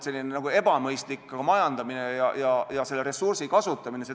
See on ebamõistlik majandamine ja ressursi kasutamine.